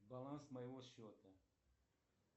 баланс моего счета